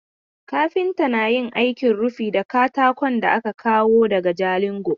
Kafinta na yin aikin rufi da katakon da aka kawo daga Jalingo.